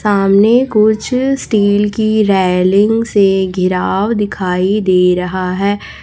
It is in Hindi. सामने कुछ स्टील की रैलिंग से घिराव दिखाई दे रहा है।